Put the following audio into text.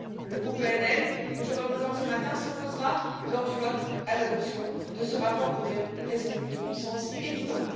Le groupe ENL, que je représente ce matin, s'opposera lors du vote à l'adoption de ce rapport, pour des raisons de bon sens évident.